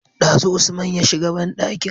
Dazu usman ya shiga banɗakin